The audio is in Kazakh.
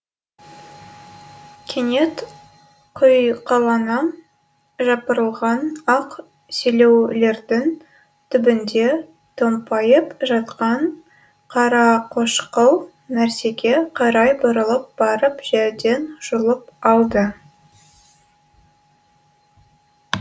кенет құйқалана жапырылған ақ селеулердің түбінде томпайып жатқан қарақошқыл нәрсеге қарай бұрылып барып жерден жұлып алды